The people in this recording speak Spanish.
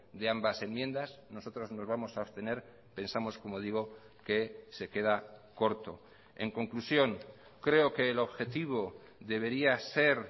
de ambas enmiendas nosotros nos vamos a abstener pensamos como digo que se queda corto en conclusión creo que el objetivo debería ser